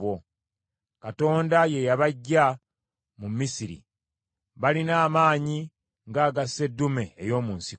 Katonda ye yabaggya mu Misiri, balina amaanyi ng’aga sseddume ey’omu nsiko.